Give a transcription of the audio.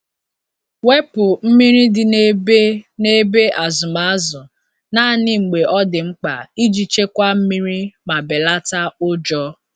Wepu mmiri dị n’ebe n’ebe azụm azụ naanị mgbe ọ dị mkpa iji chekwaa mmiri ma belata ụjọ.